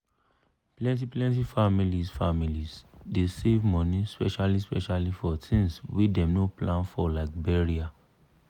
plenty-plenty families families dey save money specially-specially for tins wey dem no plan for like burial.